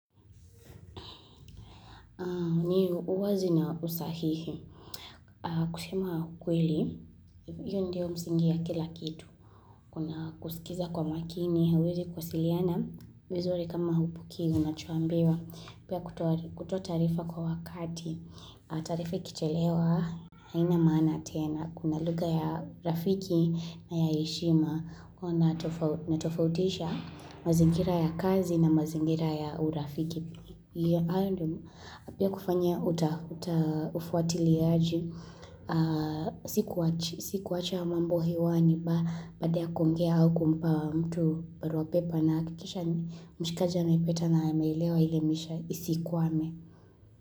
Ni uwazi na usahihi. Kusema kweli, hio ndio msingi ya kila kitu. Kuna kusikiza kwa makini, hauwezi kuwasiliana, vizuri kama haupokei, unachoambiwa. Pia kutoa taarifa kwa wakati. Taarifa ikichelewa, haina maana tena. Kuna lugha ya rafiki na ya heshima, huwa natofautisha mazingira ya kazi na mazingira ya urafiki. Pia kufanya ufuatiliaji Sikuacha mambo hewani Baada kuongea au kumpa mtu barua pepe Nahakikisha mshikaja anaipata na ameelewa ile misha isikwame.